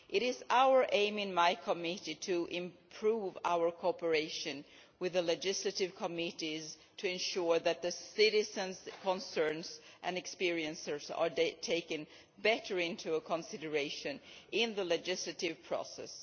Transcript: It is our aim in my committee to improve our cooperation with the legislative committees to ensure that the citizens' concerns and experiences are better taken into consideration in the legislative process.